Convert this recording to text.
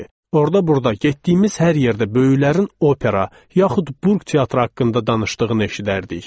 Orda-burda getdiyimiz hər yerdə böyüklərin opera, yaxud böyük teatr haqqında danışdığını eşidərdik.